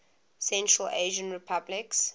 central asian republics